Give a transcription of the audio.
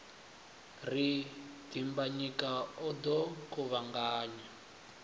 ri dimbanyika o ḓo kuvhanganya